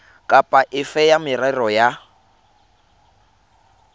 kapa efe ya merero ya